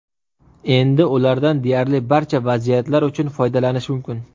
Endi ulardan deyarli barcha vaziyatlar uchun foydalanish mumkin.